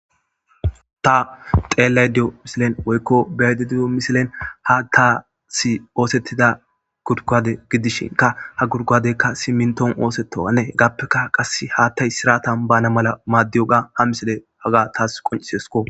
Tha xeellaydda diyo misilen woykko be7aydda diyo misilen haaththaassi ooseththida gudguwaade gidishinkka ha gudguwaadeekka simminththuwappe ooseththoogaa ethappekka qassi haaththay siraathan baanna mala maaddiyoogaa ha misilee hagaa thaas qonccisseeskkoo.